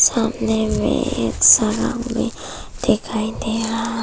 सामने मे एक दिखाई दे रहा है।